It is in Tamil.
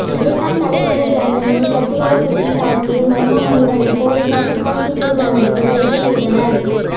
பிரிட்டன் தலைநகர் லண்டனில் கத்தியால் குத்தி தாக்கிய மர்ம மனிதனை போலீசார் துப்பாக்கிச்சூடு நடத்தி கைது செய்தனர்